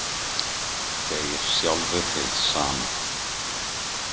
Deyr sjálfur hið sama.